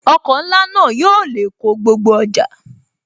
Ọkọ̀ ńlá náà yóò lè kó gbogbo ọjà